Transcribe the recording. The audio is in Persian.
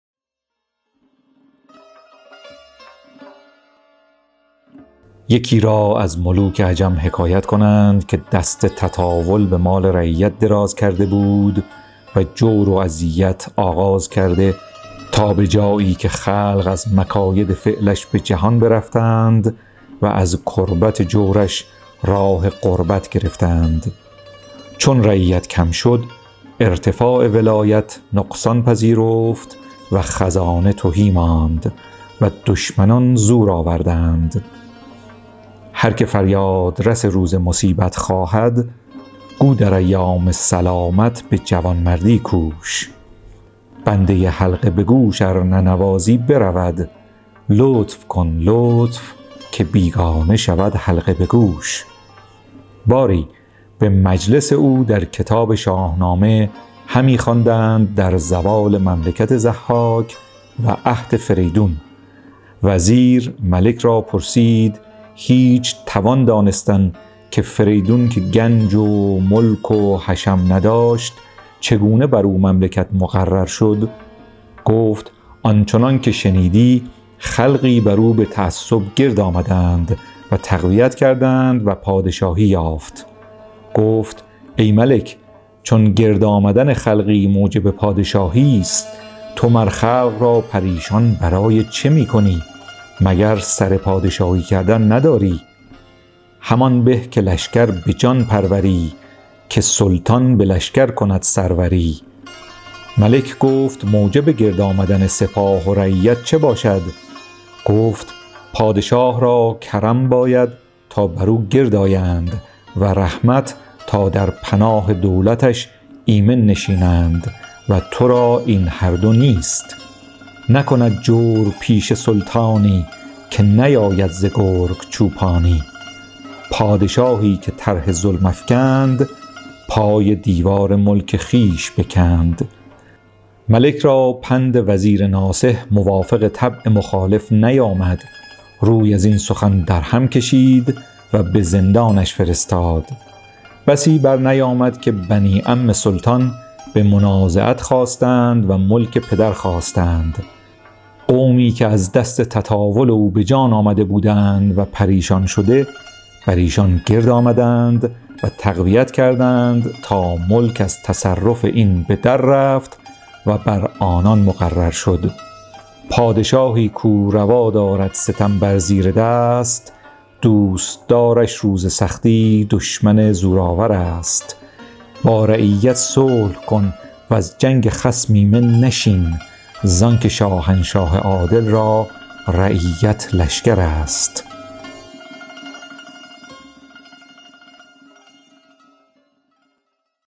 یکی را از ملوک عجم حکایت کنند که دست تطاول به مال رعیت دراز کرده بود و جور و اذیت آغاز کرده تا به جایی که خلق از مکاید فعلش به جهان برفتند و از کربت جورش راه غربت گرفتند چون رعیت کم شد ارتفاع ولایت نقصان پذیرفت و خزانه تهی ماند و دشمنان زور آوردند هر که فریاد رس روز مصیبت خواهد گو در ایام سلامت به جوانمردی کوش بنده حلقه به گوش ار ننوازی برود لطف کن لطف که بیگانه شود حلقه به گوش باری به مجلس او در کتاب شاهنامه همی خواندند در زوال مملکت ضحاک و عهد فریدون وزیر ملک را پرسید هیچ توان دانستن که فریدون که گنج و ملک و حشم نداشت چگونه بر او مملکت مقرر شد گفت آن چنان که شنیدی خلقی بر او به تعصب گرد آمدند و تقویت کردند و پادشاهی یافت گفت ای ملک چو گرد آمدن خلقی موجب پادشاهیست تو مر خلق را پریشان برای چه می کنی مگر سر پادشاهی کردن نداری همان به که لشکر به جان پروری که سلطان به لشکر کند سروری ملک گفت موجب گرد آمدن سپاه و رعیت چه باشد گفت پادشه را کرم باید تا بر او گرد آیند و رحمت تا در پناه دولتش ایمن نشینند و ترا این هر دو نیست نکند جورپیشه سلطانی که نیاید ز گرگ چوپانی پادشاهی که طرح ظلم افکند پای دیوار ملک خویش بکند ملک را پند وزیر ناصح موافق طبع مخالف نیامد روی از این سخن در هم کشید و به زندانش فرستاد بسی بر نیامد که بنی عم سلطان به منازعت خاستند و ملک پدر خواستند قومی که از دست تطاول او به جان آمده بودند و پریشان شده بر ایشان گرد آمدند و تقویت کردند تا ملک از تصرف این به در رفت و بر آنان مقرر شد پادشاهی کاو روا دارد ستم بر زیردست دوستدارش روز سختی دشمن زورآورست با رعیت صلح کن وز جنگ خصم ایمن نشین زان که شاهنشاه عادل را رعیت لشکرست